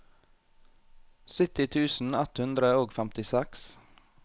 sytti tusen ett hundre og femtiseks